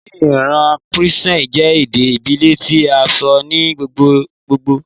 Ni Iran Persian jẹ ede ibile ti a sọ ni gbogbogbo